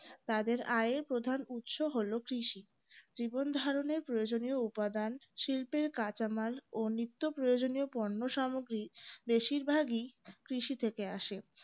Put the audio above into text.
তাদের আয়ের প্রধান উৎস হলো কৃষি জীবনধারণের প্রয়োজনীয় উপাদান শিল্পের কাঁচামাল ও নিত্য প্রয়োজনীয় পণ্য সামগ্রি বেশিরভাগই কৃষি থেকে আসে